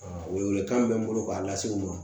Welewelekan min bɛ n bolo k'a lase u ma